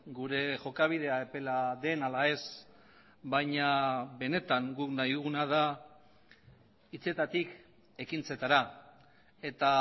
gure jokabidea epela den ala ez baina benetan guk nahi duguna da hitzetatik ekintzetara eta